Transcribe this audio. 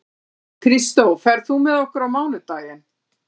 Kristó, ferð þú með okkur á mánudaginn?